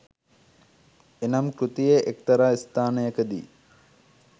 එනම් කෘතියේ එක්තරා ස්ථානයකදී